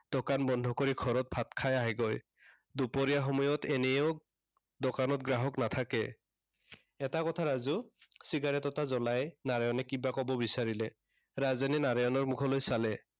দোকান বন্ধ কৰি ঘৰত ভাত খাই আহেগৈ। দুপৰীয়াৰ সময়ত এনেও, দোকানত গ্ৰাহক নাথাকে। এটা কথা ৰাজু। cigarette এটা জ্বলাই নাৰায়ণে কিবা কব বিচাৰিলে। ৰাজেনে নাৰায়ণৰ মুখলৈ চালে।